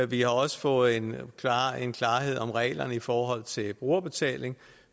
vi har også fået en en klarhed om reglerne i forhold til brugerbetaling